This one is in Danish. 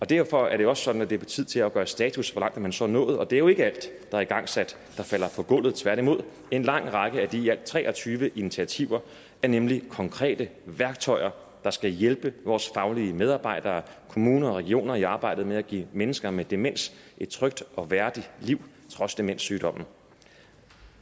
derfor er det også sådan at det er tid til at gøre status over hvor langt man så er nået og det er jo ikke alt der er igangsat der falder på gulvet tværtimod en lang række af de i alt tre og tyve initiativer er nemlig konkrete værktøjer der skal hjælpe vores faglige medarbejdere kommuner og regioner i arbejdet med at give mennesker med demens et trygt og værdigt liv trods demenssygdommen